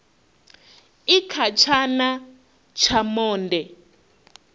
i kha tshana tsha monde